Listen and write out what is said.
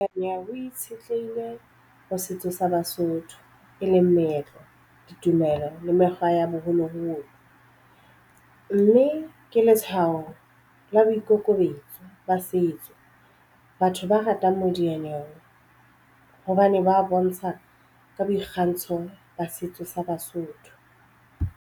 Nyana o itshetlehile ho setso sa Basotho e leng meetlo ditumelo le mekgwa ya boholoholo mme ke letshwao la boikokobetso ba setso. Batho ba ratang modiyanyewe hobane ba bontsha ka boikgantsho ba setso sa Basotho.